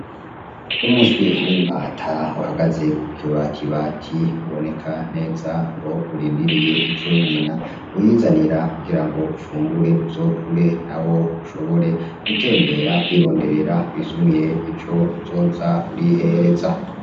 Wumuswi w'impata uhagaze kuke wat ibati uboneka neza ko urindiriye ico nyina wizanira kugira ngo ufungure uzokure na wo ushobore gutembera kwironderera wisumire ico uzoza urihereza.